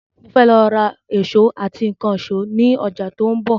Mo fẹ́ lọ ra èsó àti ìkànsó ni ọjà tí òun bò